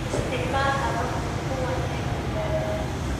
Isticmaal hababka kuwan ee badbaadada.